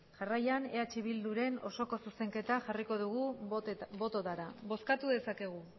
jarraian eh bilduren osoko zuzenketa jarriko dugu bototara bozkatu dezakegu